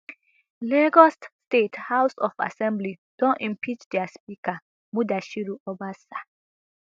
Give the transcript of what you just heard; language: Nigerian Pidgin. lagos state house of assembly don impeach dia speaker mudashiru obasa